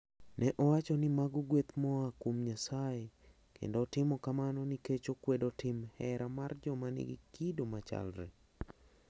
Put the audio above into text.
Ne owacho ni mago gweth ma ooa kuom Nyasaye, kendo otimo kamano nikech okwedo tim hera mar joma nigi kido machalre.